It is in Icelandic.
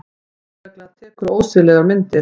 Lögregla tekur ósiðlegar myndir